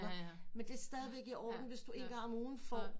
Men det er stadigvæk i orden hvis du en gang om ugen får